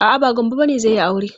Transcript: A'a, ba Gambo bane zai yi aure.